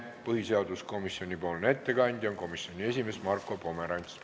Põhiseaduskomisjoni ettekandja on komisjoni esimees Marko Pomerants.